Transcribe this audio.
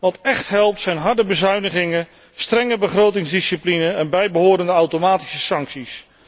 Wat echt helpt zijn harde bezuinigingen, strenge begrotingsdiscipline en bijbehorende automatische sancties.